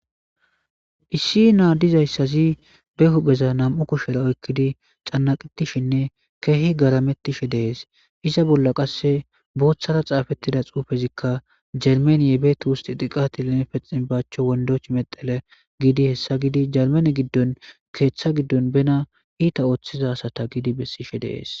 Issi naadizayssazi be hupheza nam'u kushera oykkidi cannaqetishinne keehi garamettishe dees iza bolla qasse booththara xaafettida xuufezikka jermaniye beeti wusti diqatilenepe xinbaachcho wondoch medale giidi hessa gidi jermane giddon keeththa giddon bena iita ooththiza asata gidi bessishe dees.